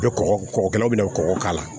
I bɛ kɔkɔ kɔgɔkɛlaw bɛna kɔgɔ k'a la